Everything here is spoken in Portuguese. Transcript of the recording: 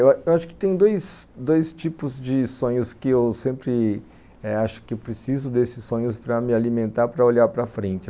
Eu eu acho que tem dois tipos de sonhos que eu sempre acho que eh eu preciso desses sonhos para me alimentar, para olhar para frente.